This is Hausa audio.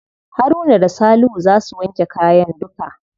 Haruna da salihu za su wanke kayan duka.